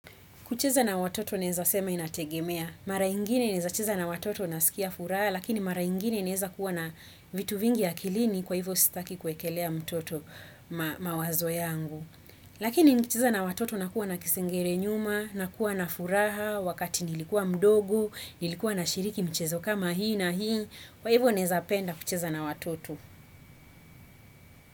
Kucheza na watoto naeza sema inategemea, mara ingine naeza cheza na watoto nasikia furaha, lakini mara ingine naeza kuwa na vitu vingi akilini kwa hivyo sitaki kuekelea mtoto mawazo yangu. Lakini nicheza na watoto nakuwa na kisingere nyuma, nakuwa na furaha, wakati nilikuwa mdogo, nilikuwa nashiriki michezo kama hii na hii, kwa hivyo naeza penda kucheza na watoto.